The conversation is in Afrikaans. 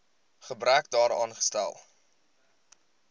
gebrek daaraan stel